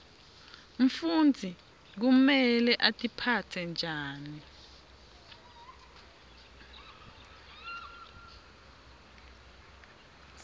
mfundzi kumele atiphatse njani